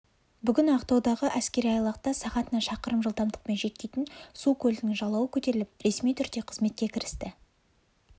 бүгін ақтаудағы әскери айлақта сағатына шақырым жылдамдықпен жүйткитін су көлігінің жалауы көтеріліп ресми түрде қызметке кірісті